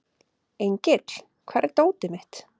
Engill, hvar er dótið mitt?